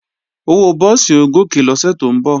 Owó búùsì ó gòkè lọ́sẹ̀ tó ń bọ̀